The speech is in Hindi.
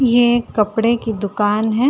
ये एक कपड़े की दुकान है।